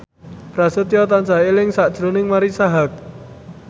Prasetyo tansah eling sakjroning Marisa Haque